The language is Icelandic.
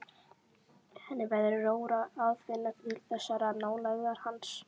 Henni verður rórra að finna til þessarar nálægðar hans.